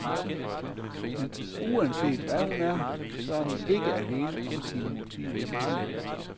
Men uanset hvad hun er, så er hun ikke alene om sine motiver i tiden.